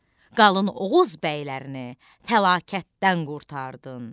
Qalın Oğuz bəylərini təlakətdən qurtardın.